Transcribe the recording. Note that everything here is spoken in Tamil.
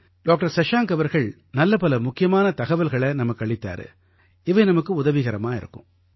டாக்டர் சஷாங்க் அவர்கள் நல்ல பல முக்கியமான தகவல்களை நமக்களித்தார் இவை நமக்கு உதவிகரமாக இருக்கும்